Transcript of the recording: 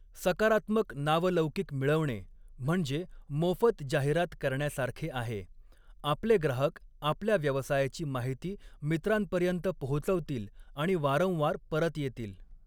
सकारात्मक नावलौकिक मिळवणे म्हणजे मोफत जाहिरात करण्यासारखे आहे, आपले ग्राहक आपल्या व्यवसायाची माहिती मित्रांपर्यंत पोहोचवतील आणि वारंवार परत येतील.